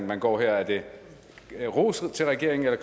man går her er det ros til regeringen eller